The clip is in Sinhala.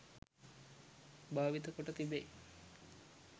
භාවිත කොට තිබේ